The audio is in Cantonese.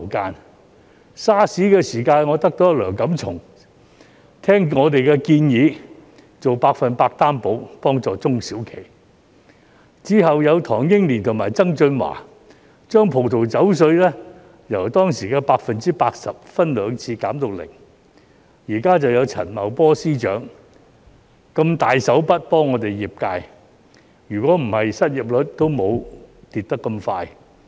在 SARS 的時候，我得到梁錦松聆聽我們的建議，做百分百擔保幫助中小企；之後有唐英年及曾俊華，把葡萄酒稅由當時的 80%， 分兩次減至零；現時就有陳茂波司長如此"大手筆"的幫助業界，否則失業率也不會下跌得這麼快。